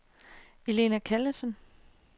Elna Callesen